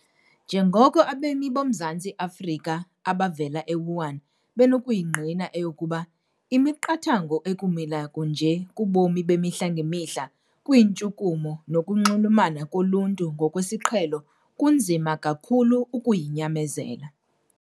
Njengoko abemi boMzantsi Afrika abavela e-Wuhan benokuyingqina eyokuba, imiqathango ekumila kunje kubomi bemihla ngemihla, kwiintshukumo nokunxulumana koluntu ngokwesiqhelo kunzima kakhulu ukuyinyamezela.